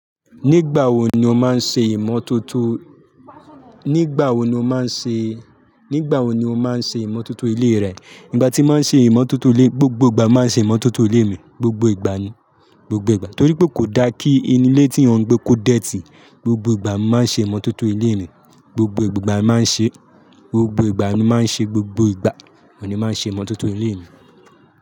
Nígbà wo ni o máa ń ṣe ìmọ̀tótó? Nígbà wo ni o máa ń ṣe, nígbà wo ni o máa ń ṣe ìmọ̀tótó ilé rẹ? Ìgbà tí màá ṣe ìmọ̀tótó ilé, gbogbo ìgbà mo máa ń ṣe ìmọ̀tótó ilé mi, gbogbo ìgbà ni, gbogbo ìgbà. Torí pé kò dá kí inú ilé tí èyán gbé kó dẹ́tì, gbogbo ìgbà mo máa ń ṣe ìmọ̀tótó ilé mi. Gbogbo ìgbà máa ń ṣe, gbogbo ìgbà ni màá ń ṣe, gbogbo ìgbà oun ni máa ń ṣe ìmọ̀tótó ilé mi.